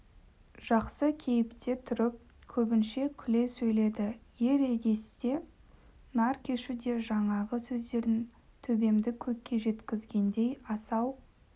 жақсы кейіпте тұрып көбінше күле сөйледі ер егесте нар кешуде жаңағы сөздерің төбемді көкке жеткізгендей асау